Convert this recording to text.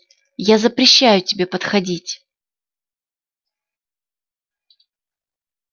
я запрещаю тебе подходить